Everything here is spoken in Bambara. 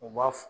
U b'a